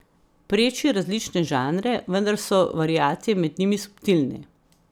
Preči različne žanre, vendar so variacije med njimi subtilne.